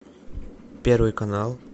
первый канал